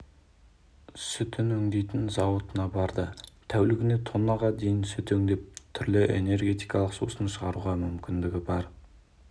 сүтін өңдейтін зауытына барды тәулігіне тоннаға дейін сүт өңдеп түрлі энергетикалық сусын шығаруға мүмкіндігі бар